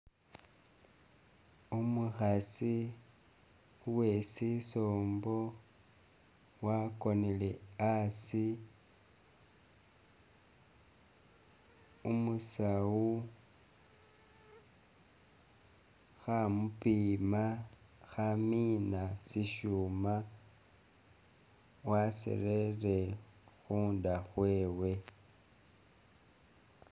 Umukhasi uwe sisombo wakonele asi, umusawu khamupima, khamiina shishuma basirere khunda khwewe